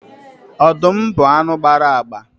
Ọdụm bụ anụ gbara agba